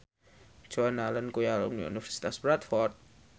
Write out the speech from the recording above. Joan Allen kuwi alumni Universitas Bradford